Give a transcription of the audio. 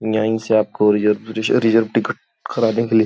courier रिज़ reserve ticket कराने के लिए --